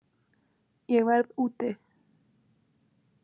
Ég verð úti